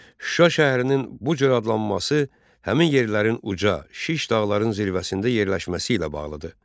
Şuşa şəhərinin bu cür adlanması həmin yerlərin uca, şiş dağların zirvəsində yerləşməsi ilə bağlıdır.